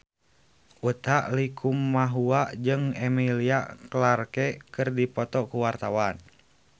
Utha Likumahua jeung Emilia Clarke keur dipoto ku wartawan